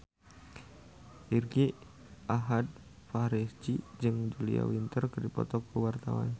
Irgi Ahmad Fahrezi jeung Julia Winter keur dipoto ku wartawan